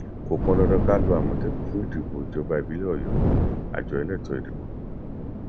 kò pọndandan ká lo àmọtẹkùn fún ìdìbò ìjọba ìbílẹ ọyọ àjọ elétò ìdìbò